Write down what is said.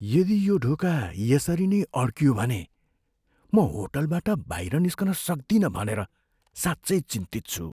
यदि यो ढोका यसरी नै अड्कियो भने म होटलबाट बाहिर निस्कन सक्दिनँ भनेर साँच्चै चिन्तित छु।